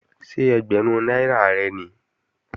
Ṣé ẹgbẹ̀rún náírà rẹ̀ nìí?